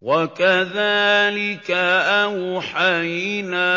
وَكَذَٰلِكَ أَوْحَيْنَا